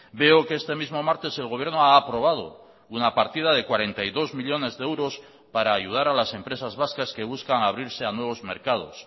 veo que este mismo martes el gobierno ha aprobado una partida de cuarenta y dos millónes de euros para ayudar a las empresas vascas que buscan abrirse a nuevos mercados